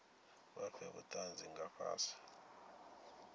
vha fhe vhutanzi nga fhasi